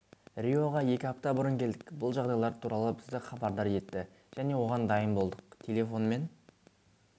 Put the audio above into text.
риоға екі апта бұрын келдік бұл жағдайлар туралы бізді хабардар етті және оған дайын болдық телефонмен